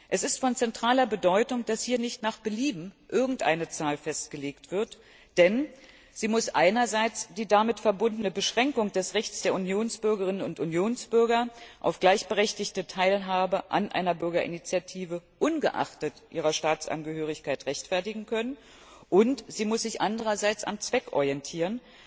Es ist von zentraler Bedeutung, dass hier nicht nach Belieben irgendeine Zahl festgelegt wird, denn sie muss einerseits die damit verbundene Beschränkung des Rechts der Unionsbürgerinnen und Unionsbürger auf gleichberechtigte Teilhabe an einer Bürgerinitiative ungeachtet ihrer Staatsangehörigkeit rechtfertigen können, und sie muss sich andererseits am Zweck orientieren.